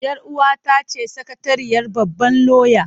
Yar uwata ce sakatariyar babban lauya.